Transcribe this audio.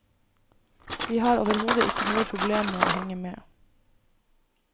Vi har overhodet ikke noe problem med å henge med.